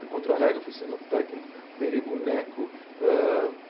Fui contrarrega, fui cenotécnico, operei boneco hã.